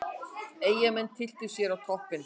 Eyjamenn tylltu sér á toppinn